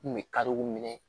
N kun bɛ kariw minɛ